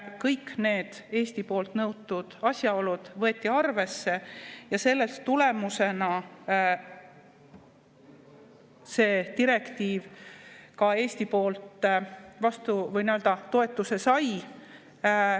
Kõik need Eesti poolt nõutud asjaolud võeti arvesse ja selle tulemusena see direktiiv ka Eesti toetuse sai.